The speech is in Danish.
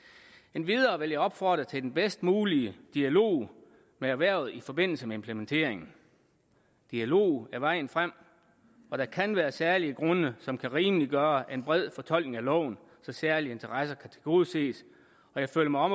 endvidere vil jeg opfordre til den bedst mulige dialog med erhvervet i forbindelse med implementeringen dialog er vejen frem og der kan være særlige grunde som kan rimeliggøre en bred fortolkning af loven så særlige interesser kan tilgodeses jeg føler mig